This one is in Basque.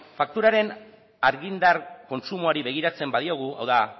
fakturaren argindar kontsumoari begiratzen badiogu hau da